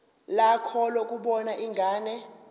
lakho lokubona ingane